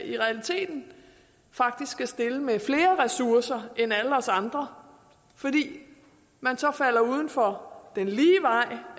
i realiteten skal stille med flere ressourcer end alle os andre fordi man falder uden for den lige